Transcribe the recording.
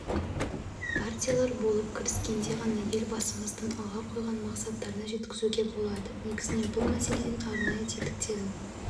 партиялар болып кіріскенде ғана елбасымыздың алға қойған мақсаттарына жеткізуге болады негізінен бұл мәселенің арнайы тетіктерін